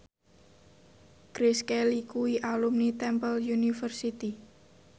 Grace Kelly kuwi alumni Temple University